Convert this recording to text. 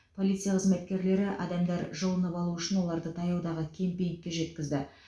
полиция қызметкерлері адамдар жылынып алу үшін оларды таяудағы кемпингке жеткізді